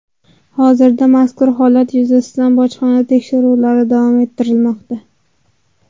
Hozirda mazkur holat yuzasidan bojxona tekshiruvlari davom ettirilmoqda.